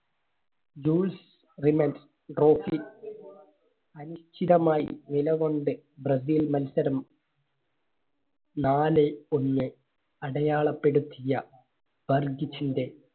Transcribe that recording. അനിശ്ചിതമായി നിലകൊണ്ട് ബ്രസീൽ മത്സരം നാലേ ഒന്ന് അടയാളപ്പെടുത്തിയ